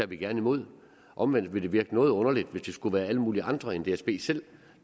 vi gerne imod omvendt vil det virke noget underligt hvis det skulle være alle mulige andre end dsb selv